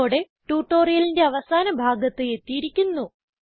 ഇതോടെ ട്യൂട്ടോറിയലിന്റെ അവസാന ഭാഗത്ത് എത്തിയിരിക്കുന്നു